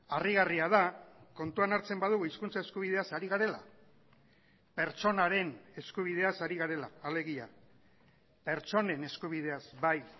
harrigarria da kontuan hartzen badugu hizkuntza eskubideaz ari garela pertsonaren eskubideaz ari garela alegia pertsonen eskubideaz bai